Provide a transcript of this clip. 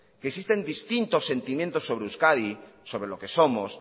que existen distintos sentimientos sobre euskadi sobre lo que somos